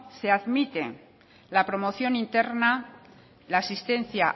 se admite la promoción interna la asistencia